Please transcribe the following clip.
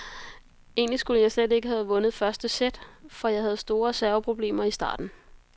Egentlig skulle jeg slet ikke have vundet første sæt, for jeg havde store serveproblemer i starten.